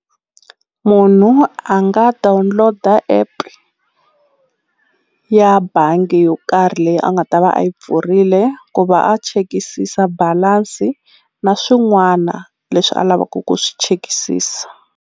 Munhu a nga download-a app ya bangi yo karhi leyi a nga ta va a yi pfurile ku va a chekisisa balance na swin'wana leswi a lavaku ku swi chekisisa.